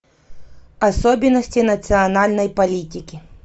особенности национальной политики